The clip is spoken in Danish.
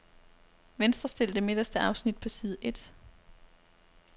Venstrestil det midterste afsnit på side et.